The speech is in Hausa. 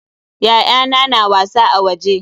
Ya'yana na wasa a waje.